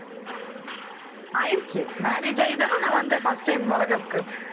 ஆயிருச்சு marriage ஆயிதானே நான் வந்தேன் first time வளைகாப்புக்கு